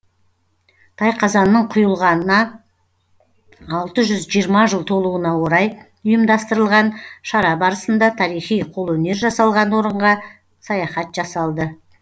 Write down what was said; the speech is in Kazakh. тайқазанның құйылғанына алты жүз жиырма жыл толуына орай ұйымдастырылған шара барысында тарихи қолөнер жасалған орынға саяхат жасалды